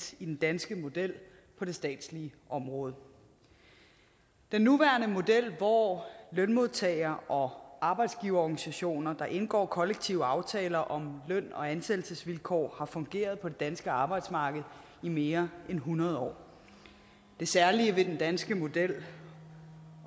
i den danske model på det statslige område den nuværende model hvor lønmodtagerne og arbejdsgiverorganisationer indgår kollektive aftaler om løn og ansættelsesvilkår har fungeret på det danske arbejdsmarked i mere end hundrede år det særlige ved den danske model